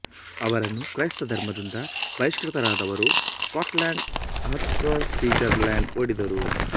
ಅವರನ್ನು ಕ್ರೈಸ್ತ ಧರ್ಮದಿಂದ ಬಹಿಷ್ಕೃತರಾದವರು ಸ್ಕಾಟ್ ಲೆಂಡ್ ಅತಹ್ವಾ ಸಿಜರ್ಲೆಂಡ್ ಓಡಿದರು